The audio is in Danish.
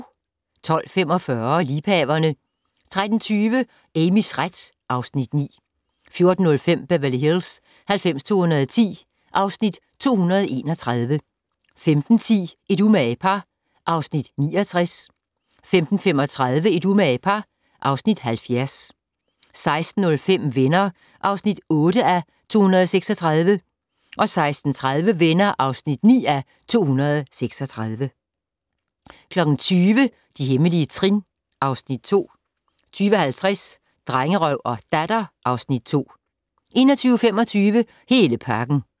12:45: Liebhaverne 13:20: Amys ret (Afs. 9) 14:05: Beverly Hills 90210 (Afs. 231) 15:10: Et umage par (Afs. 69) 15:35: Et umage par (Afs. 70) 16:05: Venner (8:236) 16:30: Venner (9:236) 20:00: De hemmelige trin (Afs. 2) 20:50: Drengerøv og Datter (Afs. 2) 21:25: Hele pakken